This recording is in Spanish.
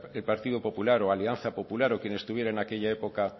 el partido popular o alianza popular o quien estuviera en aquella época